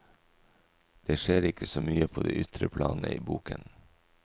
Det skjer ikke så mye på det ytre planet i boken.